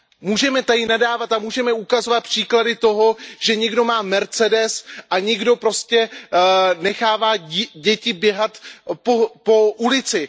Můžeme tady nadávat a ukazovat příklady toho, že někdo má Mercedes a někdo prostě nechává děti běhat po ulici.